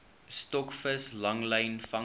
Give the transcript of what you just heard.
stokvis langlyn vangste